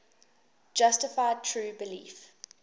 justified true belief